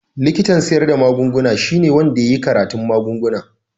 Likitan siyar da magunguna shine wanda ya yi karatun magunguna.